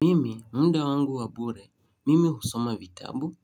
Mimi, muda wangu wa bure. Mimi husoma vitabu.